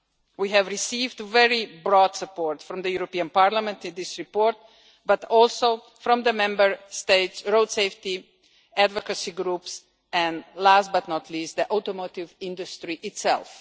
We have received very broad support from the European Parliament in this report, but also from the Member States' road safety advocacy groups, and last but not least, the automotive industry itself.